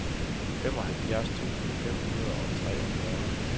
femoghalvfjerds tusind fem hundrede og treogfyrre